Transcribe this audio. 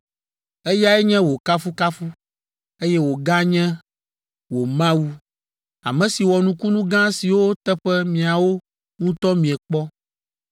Eyae nye wò kafukafu, eye wòganye wò Mawu, ame si wɔ nukunu gã siwo teƒe miawo ŋutɔ miekpɔ.